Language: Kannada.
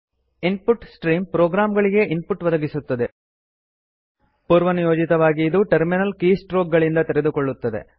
ಇನ್ ಪುಟ್ ಸ್ಟ್ರೀಮ್ ಪ್ರೋಗ್ರಾಂಗಳಿಗೆ ಇನ್ ಪುಟ್ ಒದಗಿಸುತ್ತದೆ ಪೂರ್ವನಿಯೋಜಿತವಾಗಿ ಇದು ಟರ್ಮಿನಲ್ ಕೀಸ್ಟ್ರೋಕ್ ಗಳಿಂದ ತೆಗೆದುಕೊಳ್ಳುತ್ತದೆ